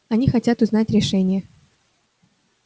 они хотят узнать решение